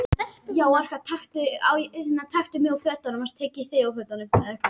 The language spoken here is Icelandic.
Atvinnuþátttaka minnkar vestra